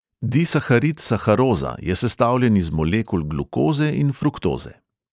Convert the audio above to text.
Disaharid saharoza je sestavljen iz molekul glukoze in fruktoze.